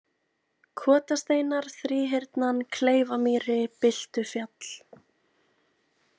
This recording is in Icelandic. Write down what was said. Kotasteinar, Þríhyrnan, Kleifamýri, Byltufjall